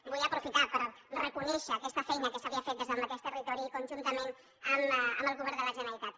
vull aprofitar per reconèixer aquesta feina que s’havia fet des del mateix territori conjuntament amb el govern de la generalitat